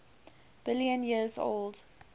billion years old